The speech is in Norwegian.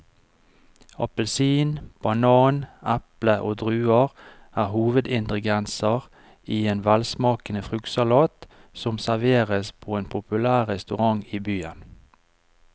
Appelsin, banan, eple og druer er hovedingredienser i en velsmakende fruktsalat som serveres på en populær restaurant i byen.